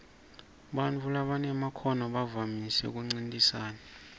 bantfu labanemakhono bavamise kuncintisana